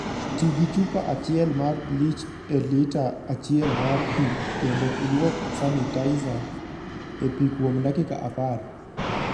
Ti gi chupa achiel mar bleach e lita achiel mar pi, kendo ilwok sanitizer e pi kuom dakika apar.